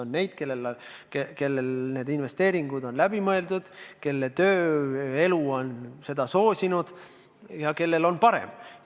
On neid, kelle investeeringud on läbi mõeldud, kelle tööelu on kogumist soosinud ja kellel on parem.